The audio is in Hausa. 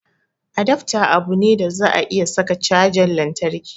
Adafta abu ne da za a iya saka cajan lantarki